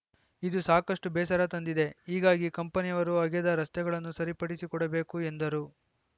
ಇದು ಸಾಕಷ್ಟುಬೇಸರ ತಂದಿದೆ ಹೀಗಾಗಿ ಕಂಪನಿಯವರು ಅಗೆದ ರಸ್ತೆಗಳನ್ನು ಸರಿಪಡಿಸಿಕೊಡಬೇಕು ಎಂದರು